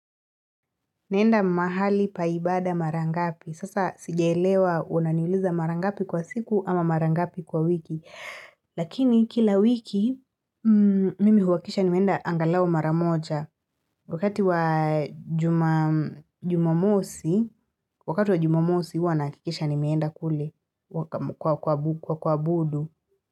Naenda mahali pa ibada mara ngapi?. Sasa sijaelewa unaniuliza mara ngapi kwa siku ama mara ngapi kwa wiki. Lakini kila wiki mimi huhakisha nimeenda angalau mara moja wakati wa jumamosi wakati wa jumamosi huwa nahakikisha nimeenda kule kwa kuabudu.